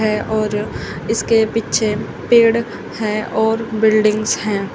है और इसके पीछे पेड़ हैं और बिल्डिंगस हैं।